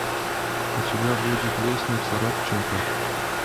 у тебя будет лестница родченко